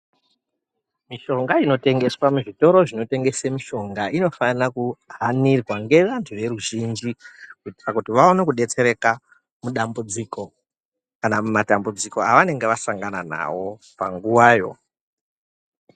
Mishonga inotengeswa muzvitoro zvinotengese mishonga inofana kuhanirwa ngevantu veruzhinji kuitira kuti vaone kudetsereka mudambudziko kana mumatambudziko aanenge asangana nawo panguwayo.